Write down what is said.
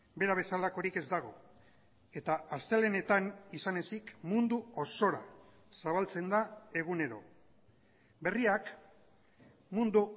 bera bezalakorik ez dago eta astelehenetan izan ezik mundu osora zabaltzen da egunero berriak mundu